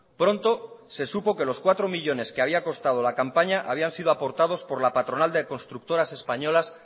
pronto se supo que los cuatro millónes que habían constado la campaña habían sido aportados por la patronal de constructoras españolas